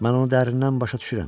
Mən onu dərindən başa düşürəm.